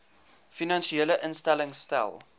finansiële instellings stel